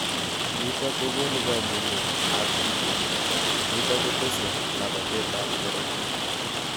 Nitok kokonu kamungeet ap tigitik nitok kotese labateet ap karatiik